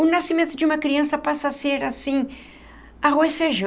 O nascimento de uma criança passa a ser assim, arroz e feijão.